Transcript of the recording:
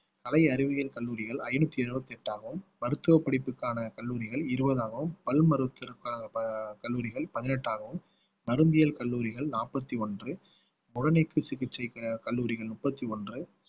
கலை அறிவியல் கல்லூரிகள் ஐந்நூத்தி எழுபத்தி எட்டாகும் மருத்துவ படிப்புக்கான கல்லூரிகள் இருபதாகவும் பல் மருத்துவ க~ ப~ கல்லூரிகள் பதினெட்டாகவும் நரம்பியல் கல்லூரிகள் நாற்பத்தி ஒன்று சிகிச்சை கல்லூரிகள் முப்பத்தி ஒன்று